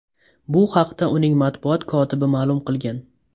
Bu haqda uning matbuot kotibi ma’lum qilgan.